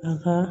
Ahan